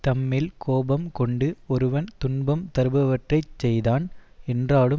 தம்மேல் கோபம் கொண்டு ஒருவன் துன்பம் தருபவற்றைச் செய்தான் என்றாலும்